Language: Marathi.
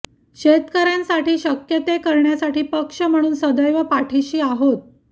शेतकऱ्यांसाठी शक्य ते करण्यासाठी पक्ष म्हणून सैदव पाठीशी आहोत